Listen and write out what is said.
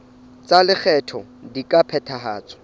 tsa lekgetho di ka phethahatswa